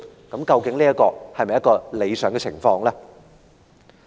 這究竟是否一個合乎理想的情況呢？